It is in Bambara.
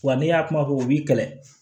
Wa ne y'a kuma fɔ u b'i kɛlɛ